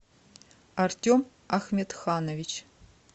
артем ахметханович